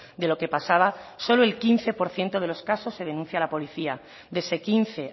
de lo que pasaba solo el quince por ciento de los casos se denuncia a la policía de ese quince